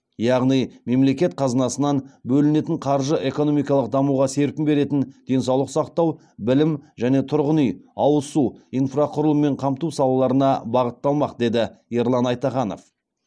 яғни мемлекет қазынасынан бөлінетін қаржы экономикалық дамуға серпін беретін денсаулық сақтау білім және тұрғын үй ауыз су инфрақұрылыммен қамту салаларына бағытталмақ деді ерлан айтаханов